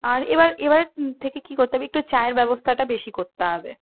আর এবার এবার থেকে কি করতে হবে একটু চায়ের ব্যবস্থা টা বেশি করতে হবে